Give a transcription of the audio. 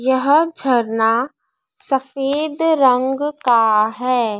यह झरना सफेद रंग का है।